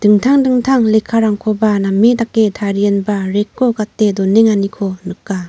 dingtang dingtang lekkarangkoba name dake tarienba rack-o gate donenganiko nika.